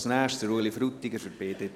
Als Nächstes: Ueli Frutiger für die BDP.